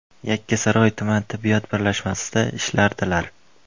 Yakkasaroy tuman tibbiyot birlashmasida ishlardilar.